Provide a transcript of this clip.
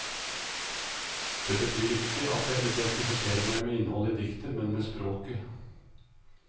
Det betyr ikke at jeg identifiserer meg med innholdet i diktet, men med språket.